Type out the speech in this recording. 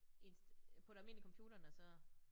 Ind på et almindelig computer når så